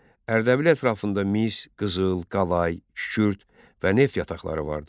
Ərdəbil ətrafında mis, qızıl, qalay, kükürd və neft yataqları vardı.